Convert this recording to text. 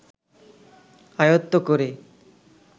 আয়ত্ত করে